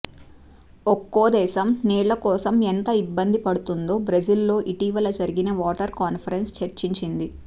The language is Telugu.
ఒక్కో దేశం నీళ్ళకోసం ఎంత ఇబ్బంది పడుతుందో బ్రెజిల్లో ఇటీవల జరిగిన వాటర్ కాన్ఫరెన్స్ చర్చించింది